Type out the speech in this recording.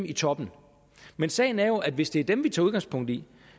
i toppen men sagen er jo at hvis det er dem vi tager udgangspunkt i